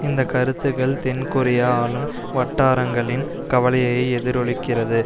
இந்த கருத்துக்கள் தென்கொரியா ஆளும் வட்டாரங்களின் கவலையை எதிரொலிக்கிறது